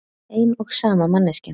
Ein og sama manneskjan.